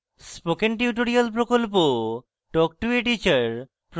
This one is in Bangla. spoken tutorial প্রকল্প talk to a teacher প্রকল্পের অংশবিশেষ